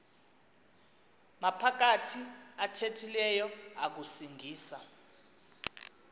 maphakathi athethileyo akusingisa